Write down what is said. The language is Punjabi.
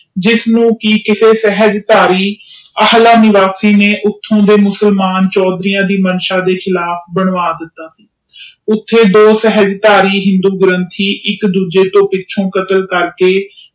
ਜਿਸਨੂੰ ਕਿ ਕਿਸੇ ਅਲਾਹ ਨਿਵਾਸੀ ਨੇ ਚੋਦਰੀਆਂ ਦੇ ਮਾਨਸ ਅਨੁਸਾਰ ਧ ਦਿਤਾ ਗਿਆ ਸੀ ਓਥੇ ਦੋ ਗ੍ਰੰਥੀ ਇਕ ਦੂਜੇ ਦੀ ਪਿੱਛੋਂ ਕਤਲ ਕਰਕੇ